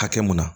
Hakɛ mun na